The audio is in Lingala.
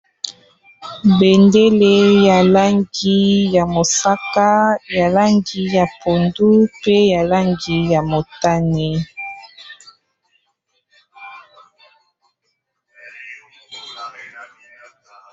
Bendele ya langi ya mosaka, ya langi ya pondu pe ya langi ya motane.